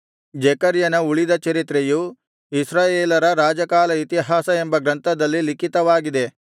ಜೆಕರ್ಯನ ಉಳಿದ ಚರಿತ್ರೆಯು ಇಸ್ರಾಯೇಲರ ರಾಜಕಾಲ ಇತಿಹಾಸ ಎಂಬ ಗ್ರಂಥದಲ್ಲಿ ಲಿಖಿತವಾಗಿದೆ